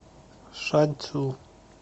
шанцю